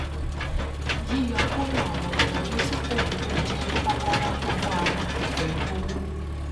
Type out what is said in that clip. yíyọkúrò àwọn ìnáwó tí kò wúlò jẹ kókóòrò tó bámu pẹlú owó